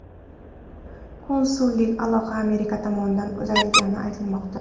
Konsullik aloqa Amerika tomonidan uzilganini aytmoqda.